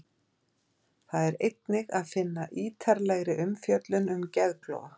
Þar er einnig að finna ítarlegri umfjöllun um geðklofa.